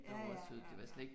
Ja ja, ja, ja